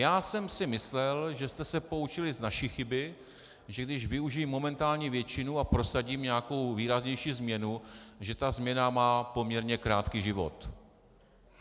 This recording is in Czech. Já jsem si myslel, že jste se poučili z naší chyby, že když využiji momentální většinu a prosadím nějakou výraznější změnu, že ta změna má poměrně krátký život.